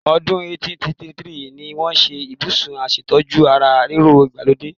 Ọdún 1833 ni wọ́n ṣe Ibùsùn aṣètójú ara ríro ìgbàlódé.